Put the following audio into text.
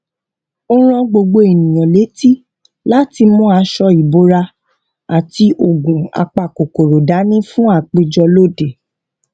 ó rán gbogbo èèyàn létí láti mú aṣọ ìbora àti oògùn apakòkòrò dání fún àpéjọ lóde